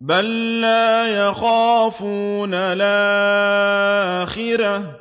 بَل لَّا يَخَافُونَ الْآخِرَةَ